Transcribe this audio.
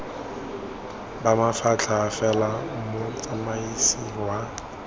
ba mafatlha fela motsamaisi wa